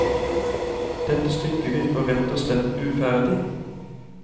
Dette stykket virker rett og slett uferdig.